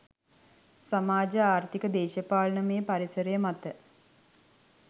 සමාජ ආර්ථික දේශපාලනමය පරිසරය මත